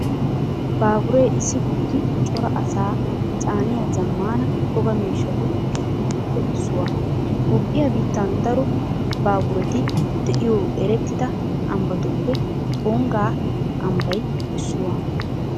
Baaburee issi kutti cora asaa caaniya zammaana toga miishshatu giddoppe issuwaa. Toophphiyaa biittan daro baabureti de'iyo erettida ambbatuppe Tungga ambbay issuwaa.